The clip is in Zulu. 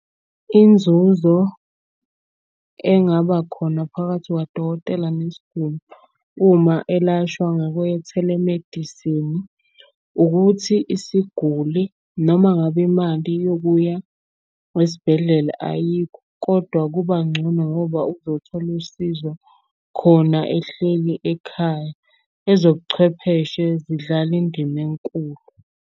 Inzuzo engaba khona phakathi kwadokotela nesiguli uma elashwa ngokwe-telemedicine, ukuthi isiguli noma ngabe imali yokuya esibhedlela ayikho kodwa kuba ncono ngoba uzothola usizo khona ehleli ekhaya. Ezobuchwepheshe zidlala indima enkulu.